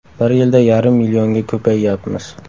Bir yilda yarim millionga ko‘payyapmiz.